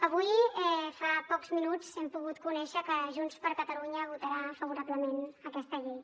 avui fa pocs minuts hem pogut conèixer que junts per catalunya votarà favorablement aquesta llei